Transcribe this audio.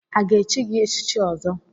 A ga-echi gị echichi Ọzọ?